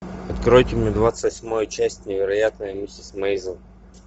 откройте мне двадцать восьмую часть невероятная миссис мейзел